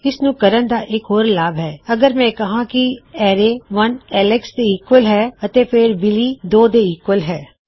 ਦੂਜਾ ਲਾਭਦਾਇਕ ਤਰੀਕਾ ਹੈ ਇਸਨੂੰ ਕਰਨ ਦਾ ਅਗਰ ਮੈਂ ਕਹਾਂ ਕੀ ਐਲੇਕਸ ਇੱਕ ਦੇ ਈਕਵਲ ਹੈ ਅਤੇ ਬਿਲੀ ਦੋ ਦੇ ਈਕਵਲ ਹੈ